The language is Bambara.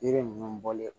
Yiri ninnu bɔlen